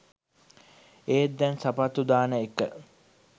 ඒත් දැන් සපත්තු දාන එක